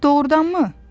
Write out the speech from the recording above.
Doğurdanmı?